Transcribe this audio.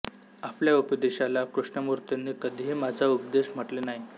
आपल्या उपदेशाला कृष्णमूर्तींनी कधीही माझा उपदेश म्हटले नाही